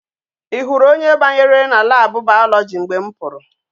I huru onye banyere na lab biology mgbe m puru?